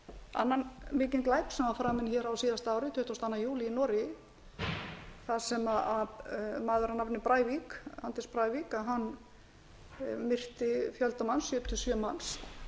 annan mikinn glæp sem var framinn á síðasta ári tuttugasta og annan júlí í noregi þar sem maður að nafni anders breivik myrti fjölda manns sjötíu og sjö manns